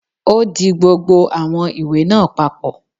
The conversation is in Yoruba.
Ó di gbogbo àwọn ìwé náà papọ̀